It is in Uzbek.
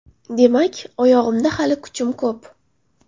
Demak, oyog‘imda hali kuchim ko‘p.